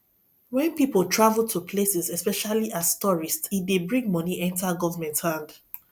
when pipo travel to places especially as tourist e dey bring money enter government hand